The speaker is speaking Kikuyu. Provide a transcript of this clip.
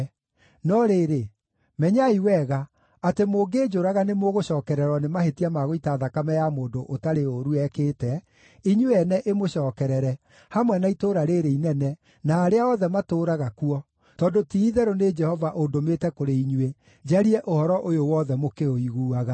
No rĩrĩ, menyai wega, atĩ mũngĩnjũraga nĩmũgũcookererwo nĩ mahĩtia ma gũita thakame ya mũndũ ũtarĩ ũũru ekĩte, inyuĩ ene ĩmũcookerere, hamwe na itũũra rĩĩrĩ inene, na arĩa othe matũũraga kuo, tondũ ti-itherũ nĩ Jehova ũndũmĩte kũrĩ inyuĩ njarie ũhoro ũyũ wothe mũkĩũiguaga.”